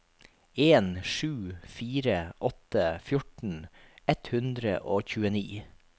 en sju fire åtte fjorten ett hundre og tjueni